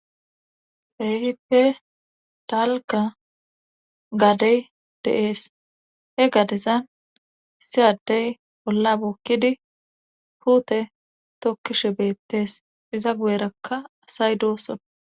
Keehippe dalka gadey de7ees he gadezan siyaddey olla bukkidi huute tokkishe beettees iza gu7erakka asay doosson